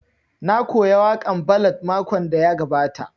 Na koya waƙan ballad makon da ya gabata